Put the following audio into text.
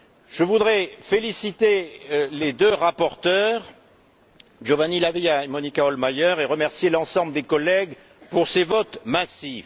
Je voudrais féliciter les deux rapporteurs, Giovanni La Via et Monika Hohlmeier, et remercier l'ensemble des collègues pour ces votes massifs.